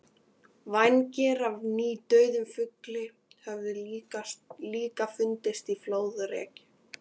Vængir af nýdauðum fugli höfðu líka fundist flóðreki.